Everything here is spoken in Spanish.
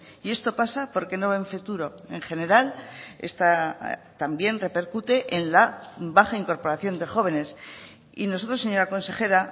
y esto pasa porque no ven futuro en general esta también repercute en la baja incorporación de jóvenes y nosotros señora consejera